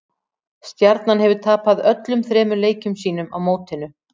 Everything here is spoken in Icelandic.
Stjarnan hefur tapað öllum þremur leikjum sínum á mótinu.